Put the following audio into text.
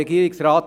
Regierungsrat